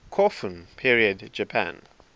kofun period japan